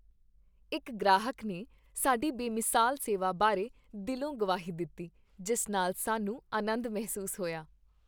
ਇੱਕ ਗ੍ਰਾਹਕ ਨੇ ਸਾਡੀ ਬੇਮਿਸਾਲ ਸੇਵਾ ਬਾਰੇ ਦਿਲੋਂਗਵਾਹੀ ਦਿੱਤੀ ਜਿਸ ਨਾਲ ਸਾਨੂੰ ਅਨੰਦ ਮਹਿਸੂਸ ਹੋਇਆ।